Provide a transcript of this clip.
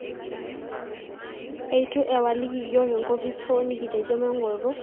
Eitu ewaliki iyiok enkopis hoo nikitejo maing'oru to orkilikuai le simu.